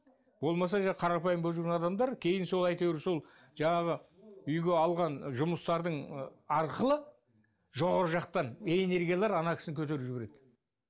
болмаса жай қарапайым болып жүрген адамдар кейін сол әйтеуір сол жаңағы үйге алған жұмыстардың ы арқылы жоғарғы жақтан энергиялар ана кісіні көтеріп жібереді